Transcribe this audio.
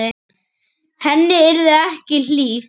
Henni yrði ekki hlíft.